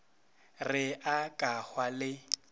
re a ka hwa le